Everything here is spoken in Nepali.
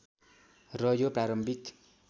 र यो प्रारम्भिक